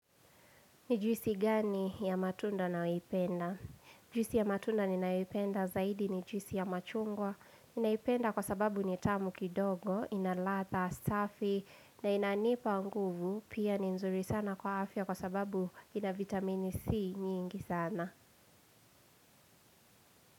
Ni juisi gani ya matunda nayoipenda? Juisi ya matunda ninayoipenda zaidi ni juisi ya machungwa. Ninaipenda kwa sababu ni tamu kidogo, ina latha, safi, na inanipa nguvu, pia ni nzuri sana kwa afya kwa sababu ina vitamini C nyingi sana.